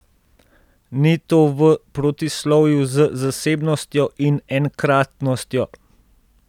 Ni to v protislovju z zasebnostjo in enkratnostjo?